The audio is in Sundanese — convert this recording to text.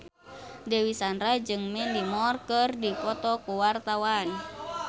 Dewi Sandra jeung Mandy Moore keur dipoto ku wartawan